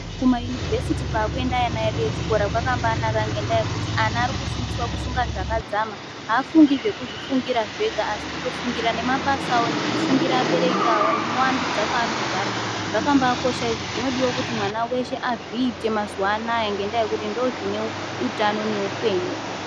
Kumayunivhesiti kwakuenda ana edu echikora kwakambanaka ngenda yekuti ana arikufundiswa kufunga zvakadzama aafungi zvekuzvifungira zvega asikutofungira nemabasa awo , nekufungira abereki awo nekuvandudza kwaanogara , zvakambakosha izvozvo zvinodiwa kuti mwana weshe azviite mazuwanaya ngendaa yekuti ndozvine utano neupenyu.